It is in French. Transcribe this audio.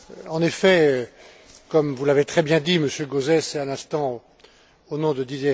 En effet, comme vous l'avez très bien dit, Monsieur Gauzès, et à l'instant au nom de M.